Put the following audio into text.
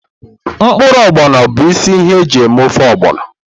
Mkpụrụ Ogbono bụ isi ihe eji ofe ogbono.